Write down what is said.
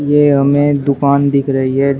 ये हमें दुकान दिख रही है जी--